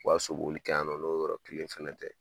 U ka so boli kɛ yan nɔ n'o yɔrɔ kelen fɛnɛ tɛ